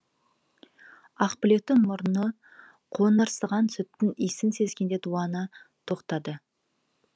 ақбілектің мұрны қоңырсыған сүттің иісін сезгенде дуана тоқтады